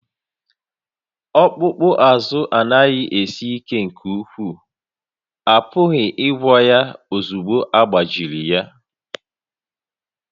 Ọkpụkpụ azụ anaghị esi ike nke ukwuu, a pụghịkwa ịgwọ ya ozugbo agbajiri ya